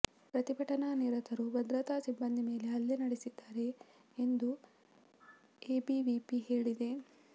ಪ್ರತಿಭಟನಾನಿರತರು ಭದ್ರತಾ ಸಿಬ್ಬಂದಿ ಮೇಲೆ ಹಲ್ಲೆ ನಡೆಸಿದ್ದಾರೆ ಎಂದು ಎಬಿವಿಪಿ ಹೇಳಿದೆ